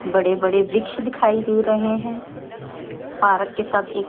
बड़े बड़े वृक्ष दिखाई दे रहे हैं पारक के साथ एक--